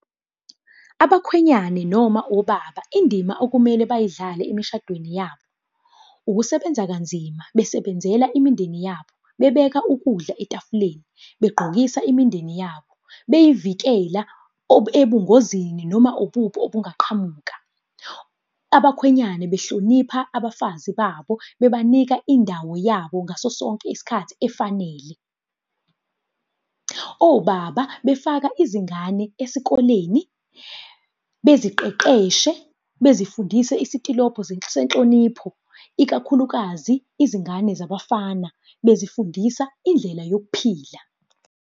Abakhwenyane noma obaba indima okumele bayidlale emishadweni yabo. Ukusebenza kanzima besebenzela imindeni yabo, bebeka ukudla etafuleni, begqokisa imindeni yabo, beyivikela ebungozini, noma ububi obungaqhamuka. Abakhwenyane behlonipha abafazi babo bebanika indawo yabo ngaso sonke isikhathi efanele. Obaba befaka izingane esikoleni, beziqeqeshe, bezifundise isitilobho senhlonipho, ikakhulukazi izingane zabafana, bezifundisa indlela yokuphila.